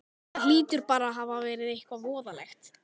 Það hlýtur bara að hafa verið eitthvað voðalegt.